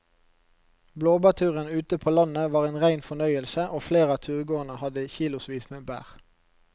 Blåbærturen ute på landet var en rein fornøyelse og flere av turgåerene hadde kilosvis med bær.